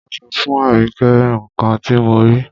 Máa sọ fún Àríkẹ́ nǹkan ti mo rí.